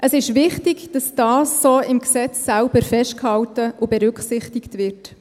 Es ist wichtig, dass dies im Gesetz selbst so festgehalten und berücksichtigt wird.